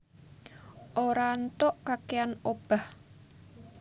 Ora ntok kakèan obah